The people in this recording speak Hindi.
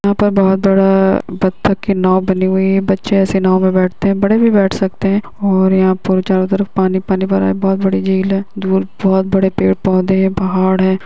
--बड़ा बत्तख के नाव बनी हुई है बच्चे ऐसे नाव में बैठते हैं बड़े भी बैठ सकते हैं और यहाँ चारो तरफ पानी पानी भरा है बहोत बड़ी झील है दूर बहोत बड़े पेड़ पौधे हैं पहाड़ है।